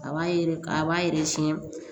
A b'a yɛrɛ a b'a yɛrɛ siɲɛ